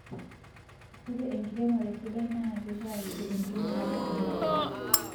Ore enkiremore sidai na kiitaa kiti enkinyalare oo ntapuka